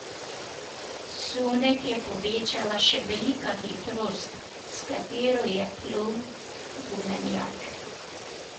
Sunek je povečala še velika hitrost, s katero je plul gumenjak.